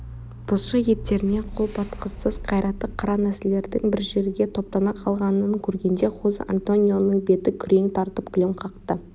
бұлшық еттеріне қол батқысыз қайратты қара нәсілділердің бір жерге топтана қалғанын көргенде хозе-антонионың беті күрең тартып күлім қақты